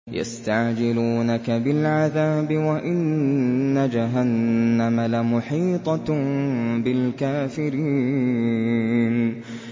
يَسْتَعْجِلُونَكَ بِالْعَذَابِ وَإِنَّ جَهَنَّمَ لَمُحِيطَةٌ بِالْكَافِرِينَ